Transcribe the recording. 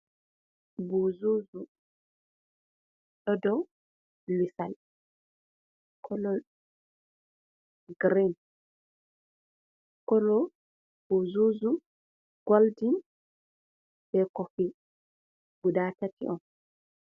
Buuzuzu, ɗo dou lisal, kolo grin. Kolo, buuzuzu goldin be kofi. Guda tati on.